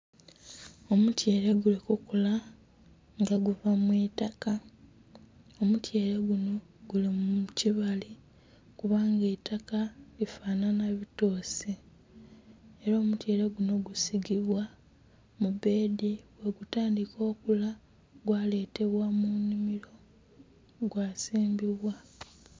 Omutyeele guli ku kula nga guva mu itaka, omutyeele gunho guli mu kibali kubanga eitaka lifanhanha bitoosi. Era omutyeele gunho gusigibwa mu beedi bwegutandhika okula gwaletebwa mu nnhimilo gwasimbibwa.